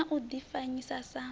hu na u difanyisa na